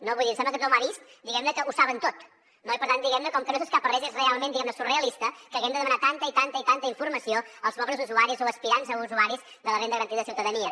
vull dir em sembla que tothom ha vist que ho saben tot no i per tant com que no s’escapa res és realment surrealista que haguem de demanar tanta i tanta i tanta informació als pobres usuaris o aspirants a usuaris de la renda garantida de ciutadania